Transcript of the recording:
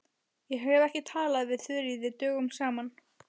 Ég hef ekki talað við Þuríði dögum saman.